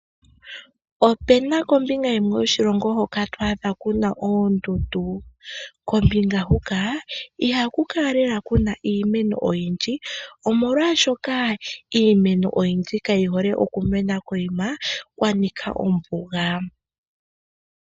Ope na kombinga yimwe yoshilongo hoka to adha ku na oondundu. Kombinga huka ihaku kala lela ku na iimeno oyindji, omolwashoka iimeno oyindji kayi hole okumena kokuma kwa nika ombuga.